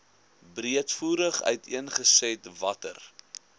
breedvoerig uiteengesit watter